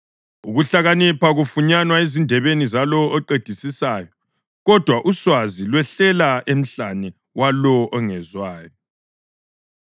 Ukuhlakanipha kufunyanwa ezindebeni zalowo oqedisisayo; kodwa uswazi lwehla emhlane walowo ongezwayo.